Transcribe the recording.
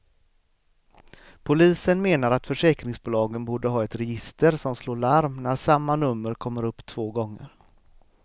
Polisen menar att försäkringsbolagen borde ha ett register som slår larm när samma nummer kommer upp två gånger.